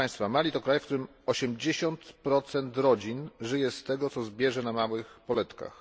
Mali to kraj, w którym 80 rodzin żyje z tego, co zbierze na małych poletkach